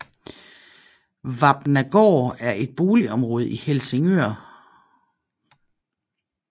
Vapnagaard er et boligområde i Helsingør